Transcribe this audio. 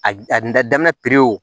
A a da daminɛ pewu